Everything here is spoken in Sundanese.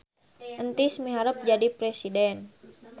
Entis miharep jadi presiden